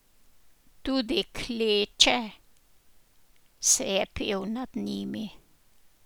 Tudi kleče se je pel nad njimi.